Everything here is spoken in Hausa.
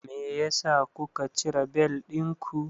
Meyasa kuka cire bel ɗinku?